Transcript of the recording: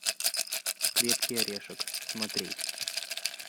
крепкий орешек смотреть